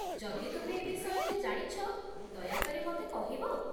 ଯଦି ତୁମେ ଏ ବିଷୟରେ ଜାଣିଛ, ଦୟା କରି ମତେ କହିବ ?